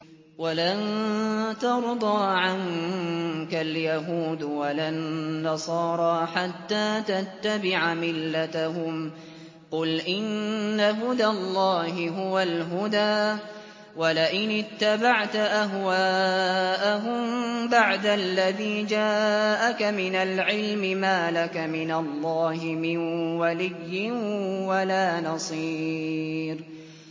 وَلَن تَرْضَىٰ عَنكَ الْيَهُودُ وَلَا النَّصَارَىٰ حَتَّىٰ تَتَّبِعَ مِلَّتَهُمْ ۗ قُلْ إِنَّ هُدَى اللَّهِ هُوَ الْهُدَىٰ ۗ وَلَئِنِ اتَّبَعْتَ أَهْوَاءَهُم بَعْدَ الَّذِي جَاءَكَ مِنَ الْعِلْمِ ۙ مَا لَكَ مِنَ اللَّهِ مِن وَلِيٍّ وَلَا نَصِيرٍ